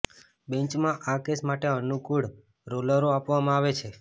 બેન્ચમાં આ કેસ માટે અનુકૂળ રોલોરો આપવામાં આવે છે